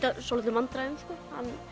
svolitlum vandræðum sko